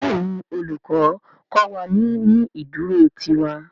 Béèni Olùkó kó wá ní ní ìdúró tí ìwà.